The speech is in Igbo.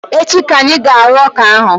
Echi ka anyị ga-arụ ọka ahụ